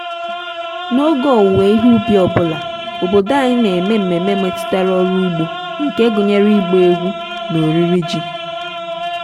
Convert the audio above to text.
n'oge owuwe ihe ubi ọ bụla obodo anyị na-eme ememe metụtara ọrụ ugbo nke gụnyere ịgba egwu na oriri ji.